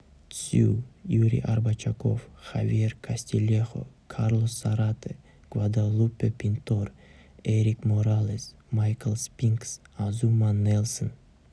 цзю юрий арбачаков хавьер кастильехо карлос зарате гваделупе пинтор эрик моралес майкл спинкс азума нельсон